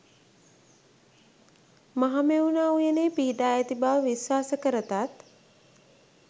මහමෙවුනා උයනේ පිහිටා ඇති බව විශ්වාස කරතත්,